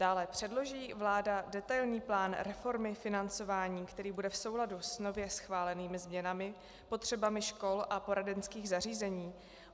Dále, předloží vláda detailní plán reformy financování, který bude v souladu s nově schválenými změnami, potřebami škol a poradenských zařízení?